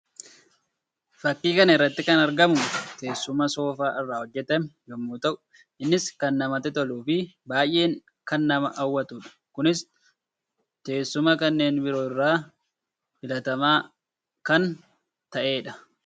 Fakkii kana irratti kan argamu teessuma soofaa irraa hojjetame yammuu ta'u; innis kan namatti toluu fi baayyee kan nama hawwatuu dha. Kunis teessuma kanneen biroo irra filatamaa kan ta'ee dha.